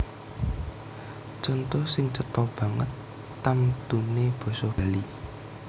Conto sing cetha banget tamtuné basa Bali